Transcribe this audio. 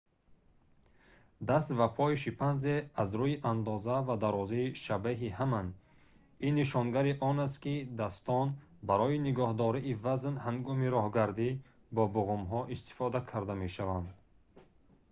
даст ва пои шимпанзе аз рӯи андоза ва дарозӣ шабеҳи ҳаманд ин нишонгари он аст ки дастон барои нигоҳдории вазн ҳангоми роҳгарди бо буғумҳо истифода карда мешаванд